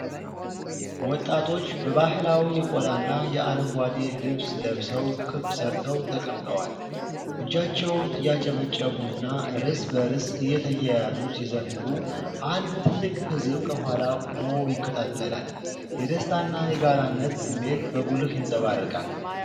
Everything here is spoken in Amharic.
ወጣቶች በባህላዊ የቆዳና የአረንጓዴ ልብስ ለብሰው ክብ ሠርተው ተቀምጠዋል። እጃቸውን እያጨበጨቡና እርስ በርስ እየተያዩ ሲዘምሩ፣ አንድ ትልቅ ሕዝብ ከኋላ ቆሞ ይከታተላል። የደስታና የጋራነት ስሜት በጉልህ ይንጸባረቃል።